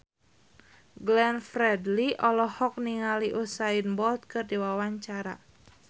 Glenn Fredly olohok ningali Usain Bolt keur diwawancara